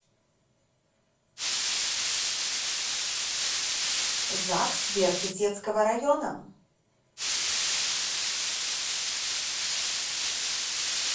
загс верх исетского района